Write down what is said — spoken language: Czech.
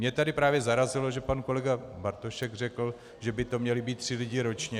Mě tady právě zarazilo, že pan kolega Bartošek řekl, že by to měli být tři lidé ročně.